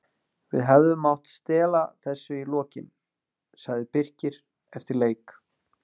Við hefðum mátt stela þessu í lokin, sagði Birkir eftir leik.